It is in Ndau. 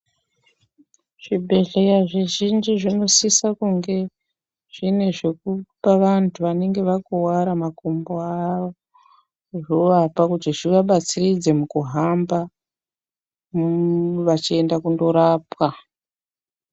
Zvibhedhleya zvizhinji zvinosisa kunge zvine zvekupa vantu vanenge vakuwara makumbo avo zvovapa kuti zvivabatsiridze mukuhamba vachienda kunorapwa.